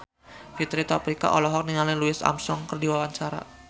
Fitri Tropika olohok ningali Louis Armstrong keur diwawancara